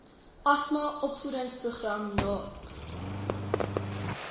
asma opvoedingsprogram naep